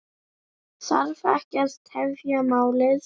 Þarf ekki að tefja málin.